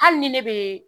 Hali ni ne bɛ